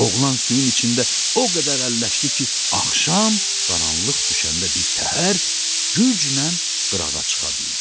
Oğlan suyun içində o qədər əlləşdi ki, axşam qaranlıq düşəndə bir təhər güclə qırağa çıxa bildi.